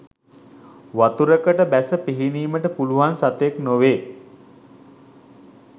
වතුරකට බැස පිහිනීමට පුළුවන් සතෙක් නොවේ.